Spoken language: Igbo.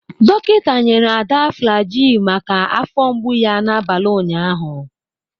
Dọkịta nyere Ada Flagyl maka afọ mgbu ya n'abalị ụnyaahụ.